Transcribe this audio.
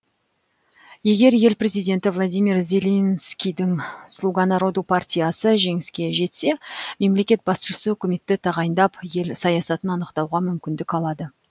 егер ел президенті владимир зеленскийдің слуга народу партиясы жеңіске жетсе мемлекет басшысы үкіметті тағайындап ел саясатын анықтауға мүмкіндік алады